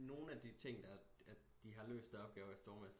Nogen af de ting der at de har løst i Stormester